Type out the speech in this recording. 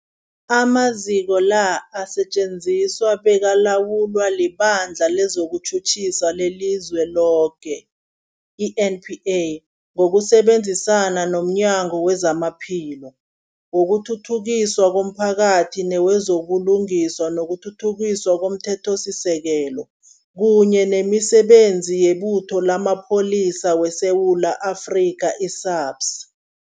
Amaziko la asetjenziswa bekalawulwa liBandla lezokuTjhutjhisa leliZweloke, i-NPA, ngokusebenzisana nomnyango wezamaPhilo, wokuthuthukiswa komphakathi newezo buLungiswa nokuThuthukiswa komThethosisekelo, kunye nemiSebenzi yeButho lamaPholisa weSewula Afrika, i-SAPS.